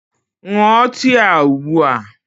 Ṅụọ tii a ugbu a!